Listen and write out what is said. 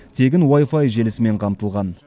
тегін уай фай желісімен қамтылған